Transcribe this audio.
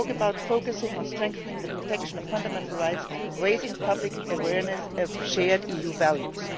You talk about focusing on strengthening the protection of fundamental rights, raising public awareness of shared EU values.